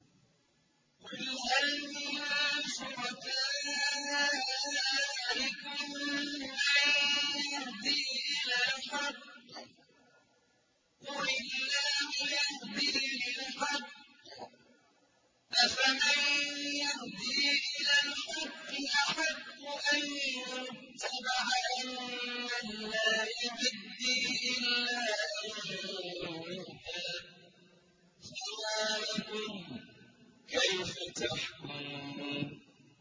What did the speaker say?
قُلْ هَلْ مِن شُرَكَائِكُم مَّن يَهْدِي إِلَى الْحَقِّ ۚ قُلِ اللَّهُ يَهْدِي لِلْحَقِّ ۗ أَفَمَن يَهْدِي إِلَى الْحَقِّ أَحَقُّ أَن يُتَّبَعَ أَمَّن لَّا يَهِدِّي إِلَّا أَن يُهْدَىٰ ۖ فَمَا لَكُمْ كَيْفَ تَحْكُمُونَ